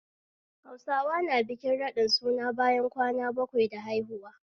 Hausawa na bikin raɗin suna bayan kwana bakwai da haihuwa